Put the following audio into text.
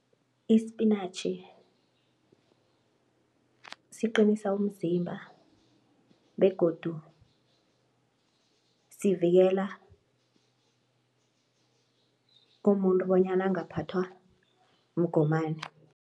Ispinatjhi siqinisa umzimba begodu sivikela umuntu bonyana angaphathwa mgomani.